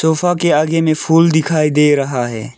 Sofa के आगे में फूल दिखाई दे रहा है।